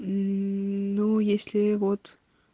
ну если вот